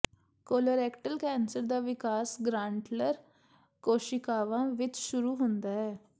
colorectal cancer ਦਾ ਵਿਕਾਸ ਗ੍ਰਾਂਟਲਰ ਕੋਸ਼ੀਕਾਵਾਂ ਵਿੱਚ ਸ਼ੁਰੂ ਹੁੰਦਾ ਹੈ